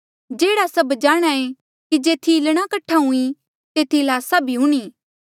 जेह्ड़ा सभ जाणहां ऐें कि जेथी ईल्लणा कठ्ठा हुई तेथी ल्हासा भी हूणीं